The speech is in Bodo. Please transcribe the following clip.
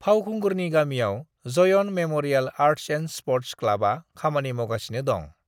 फावखुंगुरनि गामिआव Jayan memorial arts and sports क्लबआ खामानि मावगासिनो दं।